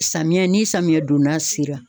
Samiyɛ ni samiyɛ donna sera.